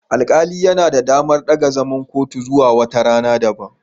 Alƙali yana da damar daga zaman kotu zuwa wata rana daban.